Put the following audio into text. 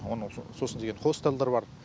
оны сосын деген хостелдер бар